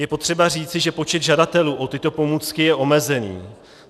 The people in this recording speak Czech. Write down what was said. Je potřeba říci, že počet žadatelů o tyto pomůcky je omezený.